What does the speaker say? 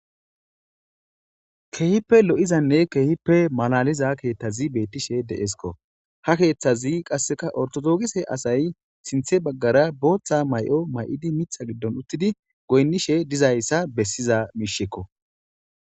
Keehippe lo'izanne keehippe malaliza keeththazi beettishe de'esko. Ha keeththazi qasseka ortodookise asay sinththe baggara booththa may'o may'idi mita giddon uttidi goynnishe dizayssa bessiza miishshekko.